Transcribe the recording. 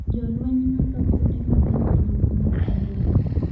Jolweny nolo kuonde mang’eny e boma mar Aleppo